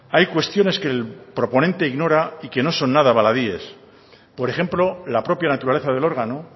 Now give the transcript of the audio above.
hay cuestiones que el proponente ignora y que no son nada baladíes por ejemplo la propia naturaleza del órgano